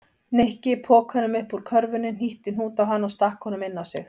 Nikki pokanum upp úr körfunni, hnýtti hnút á hann og stakk honum inn á sig.